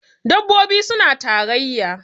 dabbobi suna tarayya